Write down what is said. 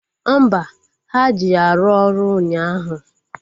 Mba, ha ji ya rụọ ọrụ ụnyaahụ